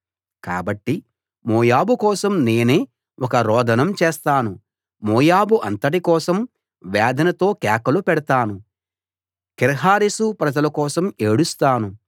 కాబట్టి మోయాబు కోసం నేనే ఒక రోదనం చేస్తాను మోయాబు అంతటి కోసం వేదనతో కేకలు పెడతాను కీర్హరెశు ప్రజలు కోసం ఏడుస్తాను